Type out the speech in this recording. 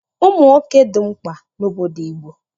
Ụmụ nwoke dị mkpa n'obodo Igbo